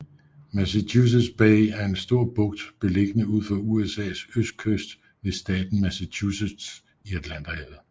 Massachusetts Bay er en stor bugt beliggende ud for USAs østkyst ved staten Massachusetts i Atlanterhavet